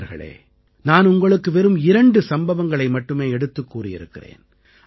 நண்பர்களே நான் உங்களுக்கு வெறும் இரண்டு சம்பவங்களை மட்டுமே எடுத்துக் கூறியிருக்கிறேன்